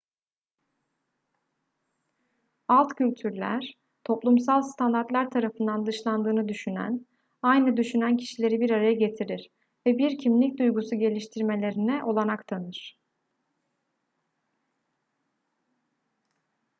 alt kültürler toplumsal standartlar tarafından dışlandığını düşünen aynı düşünen kişileri bir araya getirir ve bir kimlik duygusu geliştirmelerine olanak tanır